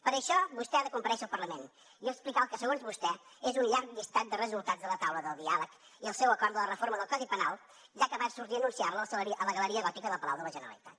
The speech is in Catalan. per això vostè ha de comparèixer al parlament i explicar el que segons vostè és un llarg llistat de resultats de la taula de diàleg i el seu acord de la reforma del codi penal ja que va sortir a anunciar la a la galeria gòtica del palau de la generalitat